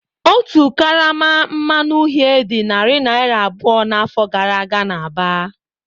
Otu karama mmanụ uhie dị narị naira abụọ n'afọ gara aga n'Aba.